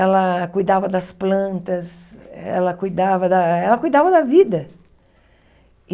Ela cuidava das plantas, ela cuidava da ela cuidava da vida.